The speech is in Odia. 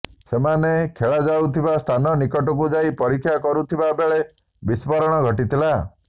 ସେମାନେ ଖୋଳାଯାଇଥିବା ସ୍ଥାନ ନିକଟକୁ ଯାଇ ପରୀକ୍ଷା କରୁଥିବା ବେଳେ ବିସ୍ଫୋରଣ ଘଟିଥିଲା